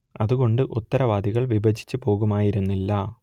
അതുകൊണ്ട് ഉത്തരവാദിത്തങ്ങൾ വിഭജിച്ച് പോകുമായിരുന്നില്ല